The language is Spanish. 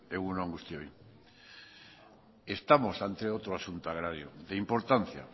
egun on guztioi estamos ante otro asunto agrario de importancia